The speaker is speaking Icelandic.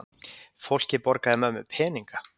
Fólkið borgaði mömmu peninga!